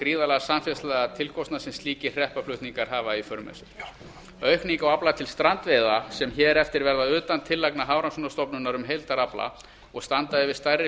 gríðarlega samfélagslega tilkostnað sem slíkir hreppaflutningar hafa í för með sér aukning á afla til strandveiða sem hér eftir verða utan tillagna hafrannsóknastofnunarinnar um heildarafla og standa yfir stærri